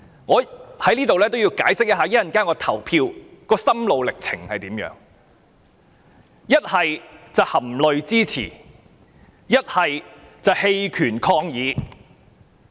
我在此要解釋一下我稍後表決的心路歷程：是含淚支持，還是棄權抗議。